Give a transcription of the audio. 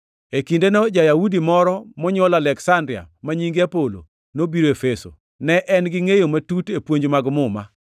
E kindeno ja-Yahudi moro monywol Aleksandria, ma nyinge Apolo, nobiro Efeso. Ne en gi ngʼeyo matut e puonj mag Muma.